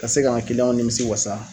Ka se ka k'an kiliyanw nimisi wasa.